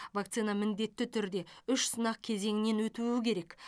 вакцина міндетті түрде үш сынақ кезеңінен өтуі керек